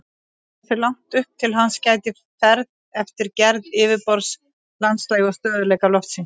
Hversu langt upp hans gætir fer eftir gerð yfirborðs, landslagi og stöðugleika lofsins.